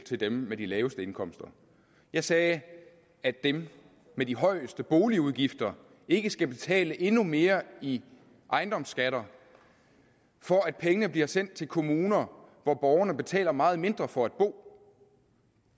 til dem med de laveste indkomster jeg sagde at dem med de højeste boligudgifter ikke skal betale endnu mere i ejendomsskatter for at pengene bliver sendt til kommuner hvor borgerne betaler meget mindre for at bo